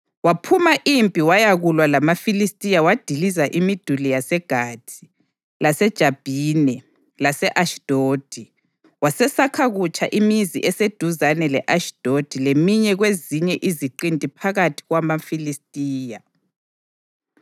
Waphuma impi wayakulwa lamaFilistiya wadiliza imiduli yaseGathi, laseJabhine lase-Ashidodi. Wasesakha kutsha imizi eseduzane le-Ashidodi leminye kwezinye iziqinti phakathi kwamaFilistiya.